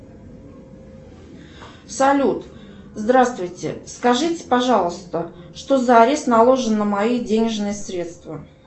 салют здравствуйте скажите пожалуйста что за арест наложен на мои денежные средства